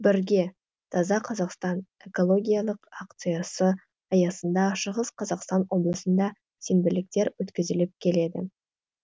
бірге таза қазақстан экологиялық акциясы аясында шығыс қазақстан облысында сенбіліктер өткізіліп келеді